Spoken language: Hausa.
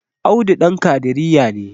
Audu Dan kadiriya ne